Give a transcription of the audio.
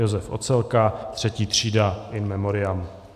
Josef Ocelka, III. třída, in memoriam.